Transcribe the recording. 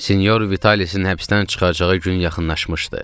Sinyor Vitalisin həbsdən çıxacağı gün yaxınlaşmışdı.